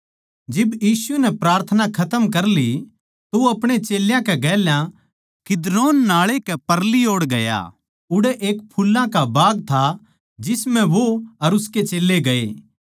जिब यीशु नै प्रार्थना खतम कर ली तो वो अपणे चेल्यां कै गेल्या किद्रोन नाळै कै परली ओड़ गया उड़ै एक फुल्लां का बाग था जिस म्ह वो अर उसके चेल्लें गए